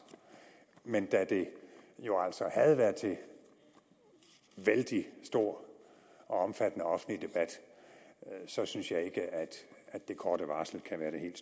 men da det jo altså havde været til vældig stor og omfattende offentlig debat synes jeg ikke at det korte varsel kan være det helt